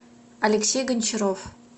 алексей гончаров